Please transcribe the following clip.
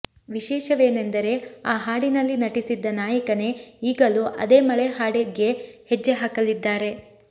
ವಿಶೇಷವೆನೆಂದರೆ ಆ ಹಾಡಿನಲ್ಲಿ ನಟಿಸಿದ್ದ ನಾಯಕನೇ ಈಗಲೂ ಅದೇ ಮಳೆ ಹಾಡಿಗೆಹೆಜ್ಜೆ ಹಾಕಲಿದ್ದಾರೆ